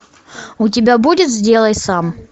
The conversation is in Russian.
у тебя будет сделай сам